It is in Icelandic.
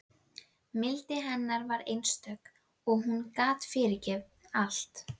Mildi hennar var einstök og hún gat fyrirgefið allt.